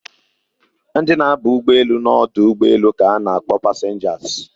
Ndị na aba ụgbọelu na ọdụ ụgbọelu ka na akpọ passengers